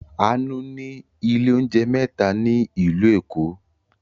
Àánú ní ilé-oúnjẹ mẹ́ta ní ìlú Èkó.